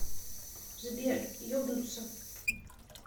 сбер ебнуться